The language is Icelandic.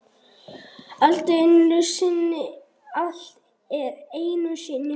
Allt er einu sinni fyrst.